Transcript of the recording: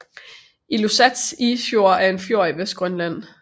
Ilulissat Isfjord er en fjord i Vestgrønland